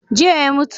Jiya ya mutu.